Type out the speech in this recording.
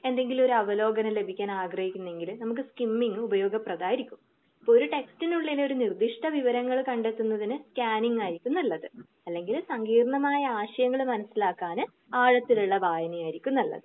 എന്തെങ്കിലും ഒരവലോകനം ലഭിക്കാൻ ആഗ്രഹിക്കുന്നുണ്ടെങ്കില് നമുക്ക് കിംമിങ് ഉപയോഗപ്രധമായിരിക്കും ഒരു ടെക്സ്റ്റ്‌നുള്ളിൽ ഒരു നിർദ്ധിഷ്ട വിവരങ്ങൾ കണ്ടെത്തുന്നതിന് ക്യാനിങ് ആയിരിക്കും നല്ലത്. അല്ലെങ്കിൽ സങ്കീർണ്ണമായ ആശയങ്ങൾ മനസ്സിലാക്കാന് ആഴത്തിലുള്ള വായന ആയിരിക്കും നല്ലത്.